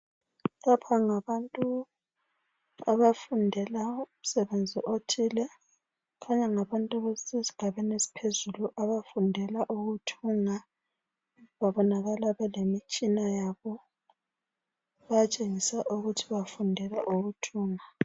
Lapha ngabantu abafundela umsebenzi othile. Kukhanya ngabantu abasesigabeni esiphezulu. Abafundela ukuthunga. Babonakala bekemitshina yabo. Bayatshengisa ukuthi bafundela ukuthunga.